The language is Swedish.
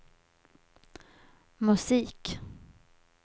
musik